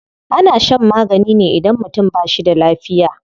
Ana shan magani ne idan mutum ba shi da lafiya.